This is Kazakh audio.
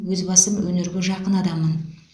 өз басым өнерге жақын адаммын